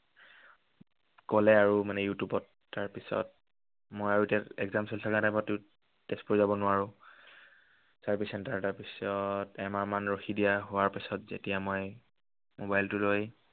কলে মানে আৰু ইউটিউবত। তাৰ পিছত মই আৰু এতিয়া exam চলি থকাৰ time তটো তেজপুৰ যাব নোৱাৰো। service centre তাৰপিছত এমাহমান ৰখি দিয়া হোৱাৰ পিছত যেতিয়া মই mobile টো লৈ